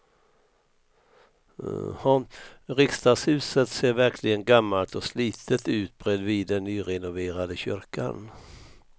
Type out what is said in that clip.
Riksdagshuset ser verkligen gammalt och slitet ut bredvid den nyrenoverade kyrkan.